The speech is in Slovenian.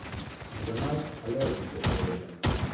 Za nas alergike, seveda.